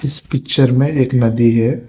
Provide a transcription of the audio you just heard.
इस पिक्चर में एक नदी है।